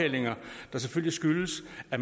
at